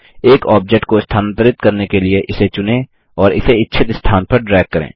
एक ऑब्जेक्ट को स्थानांतरित करने के लिए इसे चुनें और इसे इच्छित स्थान पर ड्रैग करें